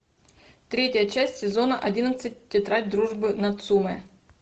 третья часть сезона одиннадцать тетрадь дружбы нацумэ